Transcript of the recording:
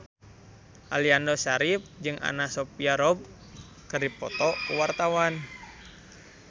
Aliando Syarif jeung Anna Sophia Robb keur dipoto ku wartawan